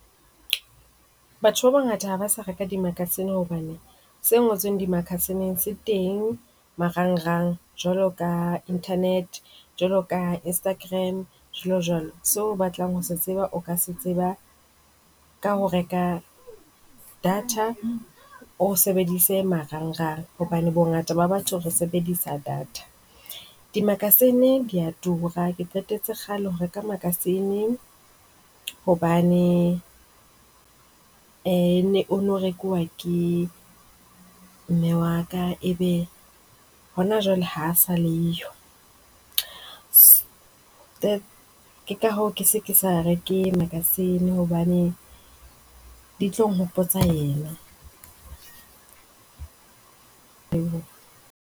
Batho ba bangata ha ba sa reka di-magazine hobane se ngotsweng dimakasineng se teng marangrang, jwalo ka internet. Jwalo ka Instagram jwalojwalo. Seo o batlang ho se tseba, o ka se tseba ka ho reka data. O sebedise marangrang hobane bongata ba batho re sebedisa data. Dimakasine di a tura. Ke qetetse kgale ho reka makasine hobane ee o ne o rekuwa ke mme wa ka. E be hona jwale ha a sa le yo. Ke ka hoo ke se ke sa reke magazine hobane di tlo nkgopotsa yena.